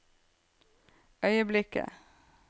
øyeblikket